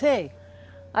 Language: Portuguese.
Sei.